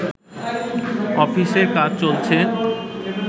অফিসের কাজ চলছে